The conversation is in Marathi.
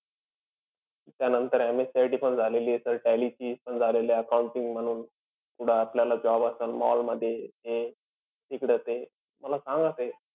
त्यानंतर MSCIT पण झालेलीय. Sir tally ची पण झालेलय. Accounting म्हणून पुढं आपल्याला job असंल mall मधी हे तिकडं ते. मला सांगा ते.